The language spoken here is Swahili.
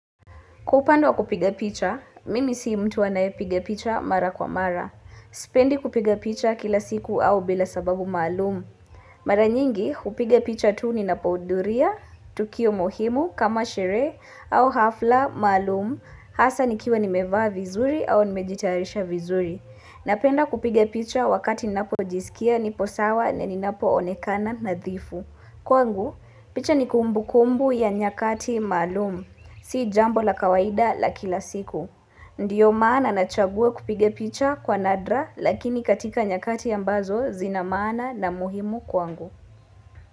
Kwa upande wa kupiga picha, mimi sii mtu wanae piga picha mara kwa mara. Sipendi kupiga picha kila siku au bila sababu malumu. Mara nyingi, hupiga picha tuu ninapouduria, tukio muhimu, kama shere, au hafla, malumu, hasa nikiwa nimevaa vizuri au nimejitarisha vizuri. Napenda kupiga picha wakati ninapojisikia, nipo sawa, na ninapoonekana, nadhifu. Kwangu, picha ni kumbu kumbu ya nyakati malum. Si jambo la kawaida la kila siku. Ndiyo maana nachagua kupiga picha kwa nadra lakini katika nyakati ambazo zina maana na muhimu kwa ngu.